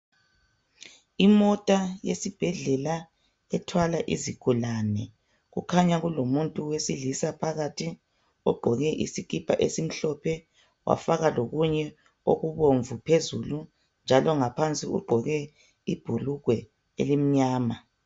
Imota yesibhedlela ethwala izigulane. Kukhanya kulomuntu wesilisa phakathi ogqoke isikipa esimhlophe , wafaka lokunye okubomvu phezulu, njalo ngaphansi ugqoke ibhulugwe elimnyama.